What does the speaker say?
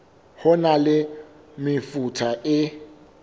ho na le mefuta e